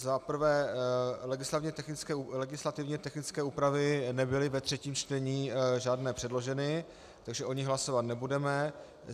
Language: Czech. Za prvé, legislativně technické úpravy nebyly ve třetím čtení žádné předloženy, takže o nich hlasovat nebudeme.